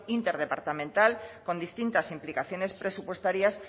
interdepartamental con distintas implicaciones presupuestarias